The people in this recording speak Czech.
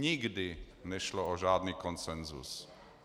Nikdy nešlo o žádný konsenzus.